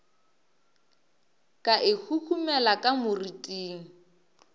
ka e huhumela ka moriting